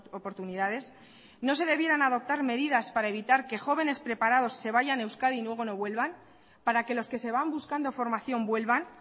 oportunidades no se debieran adoptar medidas para evitar que jóvenes preparados se vayan de euskadi y luego no vuelvan para que los que se van buscando formación vuelvan